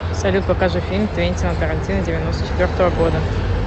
салют покажи фильм твентина тарантино девяносто четвертого года